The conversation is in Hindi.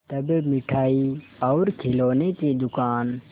तब मिठाई और खिलौने की दुकान